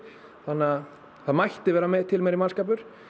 þannig að það mætti vera til meiri mannskapur